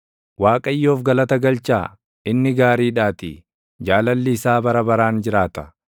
Waaqayyoof galata galchaa; inni gaariidhaatii; jaalalli isaa bara baraan jiraata.